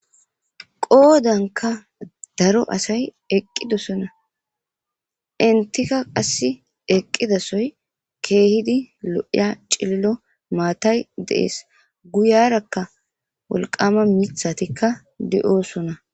Qoodanka daro asay eqqidosona intika qass eqqidasoy keehidi lo'iya cillo maatay deees guyarakka wolqama mithatikka de'oosona.